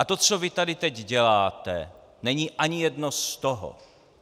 A to, co vy tady teď děláte, není ani jedno z toho.